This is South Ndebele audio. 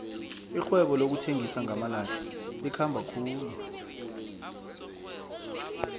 irhwebo lokuthengisa ngamalahle likhamba khulu